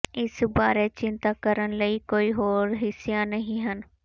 ਇਸ ਬਾਰੇ ਚਿੰਤਾ ਕਰਨ ਲਈ ਕੋਈ ਹੋਰ ਹਿੱਸਿਆਂ ਨਹੀਂ ਹਨ